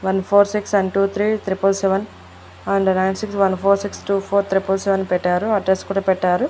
One four six and one two three triple seven and nine six one four six two four triple seven పెట్టారు address కూడా పెట్టారు.